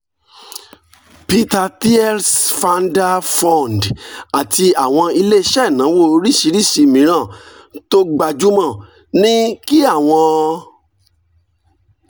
peter thiel's founder fund àti àwọn ilé iṣẹ́ ìnáwó oríṣiríṣi mìíràn tó gbajúmọ̀ ní kí àwọn